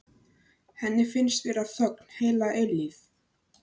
Henni finnst vera þögn heila eilífð.